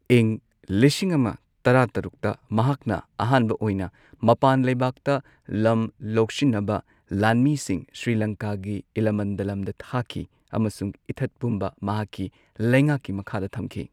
ꯏꯪ ꯂꯤꯁꯤꯡ ꯑꯃ ꯇꯔꯥ ꯇꯔꯨꯛꯇ ꯃꯍꯥꯛꯅ ꯑꯍꯥꯟꯕ ꯑꯣꯏꯅ ꯃꯄꯥꯟ ꯂꯩꯕꯥꯛꯇ ꯂꯝ ꯂꯧꯁꯤꯟꯅꯕ ꯂꯥꯟꯃꯤꯁꯤꯡ ꯁ꯭ꯔꯤꯂꯪꯀꯥꯒꯤ ꯏꯂꯥꯃꯟꯗꯂꯝꯗ ꯊꯥꯈꯤ ꯑꯃꯁꯨꯡ ꯏꯊꯠ ꯄꯨꯝꯕ ꯃꯍꯥꯛꯀꯤ ꯂꯩꯉꯥꯛꯀꯤ ꯃꯈꯥꯗ ꯊꯝꯈꯤ꯫